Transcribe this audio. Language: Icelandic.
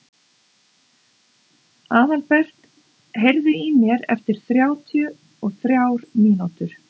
Aðalbert, heyrðu í mér eftir þrjátíu og þrjár mínútur.